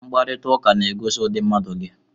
Mkparịta ụka na-egosi ụdị mmadụ gị